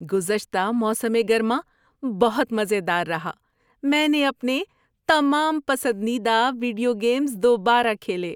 گزشتہ موسم گرما بہت مزے دار رہا۔ میں نے اپنے تمام پسندیدہ ویڈیو گیمز دوبارہ کھیلے۔